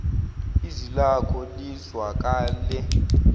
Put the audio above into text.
izwi lakho lizwakale